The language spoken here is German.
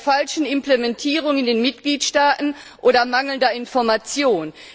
Liegt es an der falschen Implementierung in den Mitgliedstaaten oder an mangelnder Information?